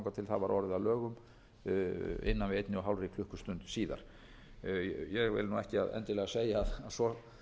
einni og hálfri klukkustund síðar ég vil ekki endilega segja að svo